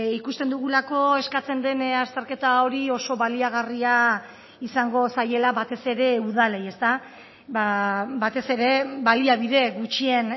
ikusten dugulako eskatzen den azterketa hori oso baliagarria izango zaiela batez ere udalei batez ere baliabide gutxien